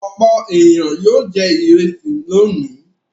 Òpó èniyàn yóò jẹ ìrẹsì lónìí.